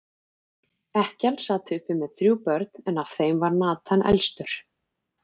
Ekkjan sat uppi með þrjú börn, en af þeim var Nathan elstur.